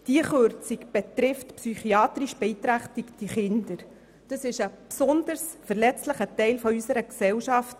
Diese Kürzung betrifft psychiatrisch beeinträchtigte Kinder, also einen besonders verletzlichen Teil unserer Gesellschaft.